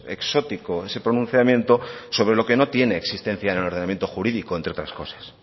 exótico ese pronunciamiento sobre lo que no tiene existencia en el ordenamiento jurídico entre otras cosas